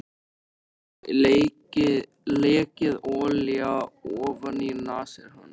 Það hafði lekið olía ofaní nasir hans.